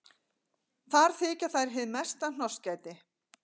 Þar þykja þær hið mesta hnossgæti.